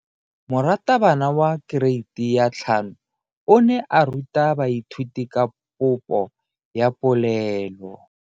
Moratabana wa kereiti ya 5 o ne a ruta baithuti ka popo ya polelo.